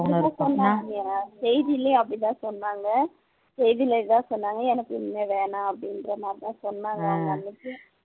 அப்படித்தான் சொன்னாங்க செய்திலேயும் அப்படித்தான் சொன்னாங்க செய்தில இதான் சொன்னாங்க எனக்கு இனிமேல் வேணாம் அப்படின்ற மாதிரிதான் சொன்னாங்க அவங்க அன்னைக்கே